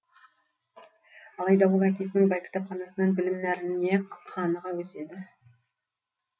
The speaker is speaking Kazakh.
алайда ол әкесінің бай кітапханасынан білім нәріне қаныға өседі